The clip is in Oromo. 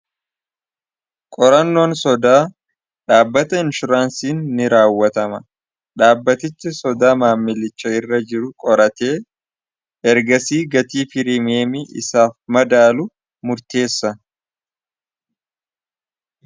qorannoon sodaa dhaabbata inshuraansiin ni raawwatama dhaabbatichi sodaa maammilicha irra jiru qoratee ergasii gatii pirimeemii isaaf madaalu murteessa